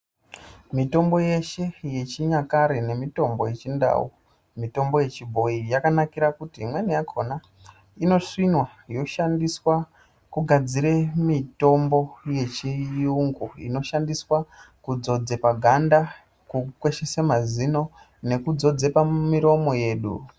Mitombo yeshe yechinyakare nemutombo yechindau mutombo yechibhoyi yakanakira kuti imweni yakona inosvinwa yoshandiswa kugadzira mitombo yechiyungu inoshandiswa kudzodza paganda nekukweshesa mazino nekudzodza pamuromo yedu.